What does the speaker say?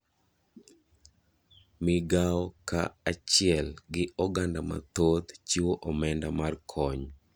Migao ka achiel gi oganda mathoth chiwo omenda mar kony.